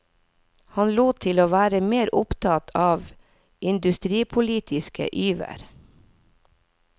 Han lot til å være mer opptatt av industripolitiske vyer.